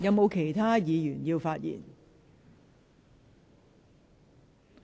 是否有其他議員想發言？